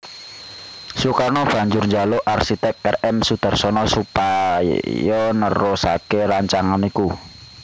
Sukarno banjur njaluk arsitèk R M Soedarsono supaya nerusaké rancangan iku